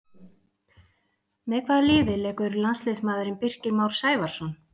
Með hvaða liði leikur landsliðsmaðurinn Birkir Már Sævarsson?